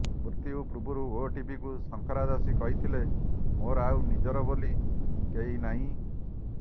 ମୃତ୍ୟୁ ପୂର୍ବରୁ ଓଟିଭିକୁ ଶଙ୍କରା ଦାସୀ କହିଥିଲେ ମୋର ଆଉ ନିଜର ବୋଲି କେହି ନାହିଁ